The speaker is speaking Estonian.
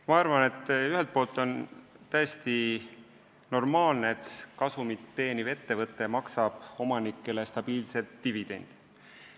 Ma arvan, et ühelt poolt on see täiesti normaalne, et kasumit teeniv ettevõte maksab omanikele stabiilselt dividende.